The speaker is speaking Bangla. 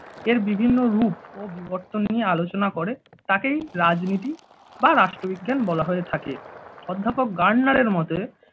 এর বিভিন্ন রূপ ও বিবর্তন নিয়ে আলোচনা করে তাকেই রাজনীতি বা রাষ্ট্রবিজ্ঞান বলা হয়ে থাকে। অধ্যাপক গার্নারের মতে